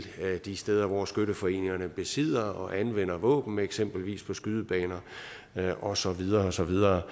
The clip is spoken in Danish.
de steder hvor skytteforeningerne besidder og anvender våben eksempelvis på skydebaner og så videre og så videre